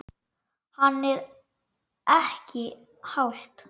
Hann: Er ekki hált?